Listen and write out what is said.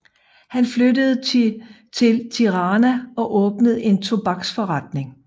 Han flyttede til Tirana og åbnede en tobaksforretning